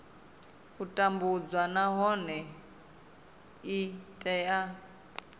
u tambudzwa nahone i tea